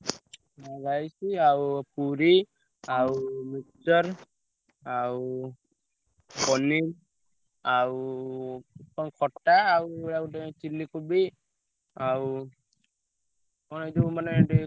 ଆଉ rice ଆଉ ପୁରୀ ଆଉ mixture ଆଉ ପନୀର ଆଉ ପୁଣି ଖଟା ଆଉ ଆଉ ଗୋଟେ chilly କୋବି ଆଉ କଣ ଏଇ ଯୋଉ ମାନେ।